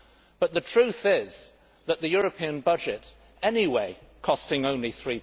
But the truth is that the European budget, anyway costing only EUR